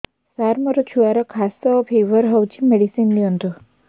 ସାର ମୋର ଛୁଆର ଖାସ ଓ ଫିବର ହଉଚି ମେଡିସିନ ଦିଅନ୍ତୁ